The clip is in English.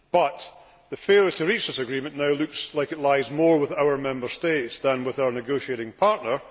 However, failure to reach this agreement now looks like it lies more with the Member States than with our negotiating partner.